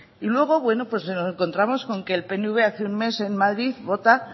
y luego nos encontramos que el pnv hace un mes en madrid vota